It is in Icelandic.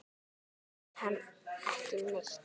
Hún þekkir hann ekki neitt.